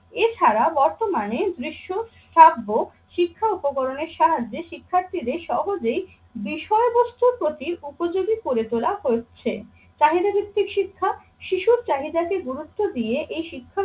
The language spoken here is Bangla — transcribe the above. এছাড়া বর্তমানে দৃশ্য থাকবো শিক্ষা উপকরণের সাহায্যে শিক্ষার্থীদের সহজেই বিষয়বস্তুর প্রতি উপযোগী করে তোলা হচ্ছে। চাহিদা ভিত্তিক শিক্ষা শিশুর চাহিদাকে গুরুত্ব দিয়ে এই শিক্ষা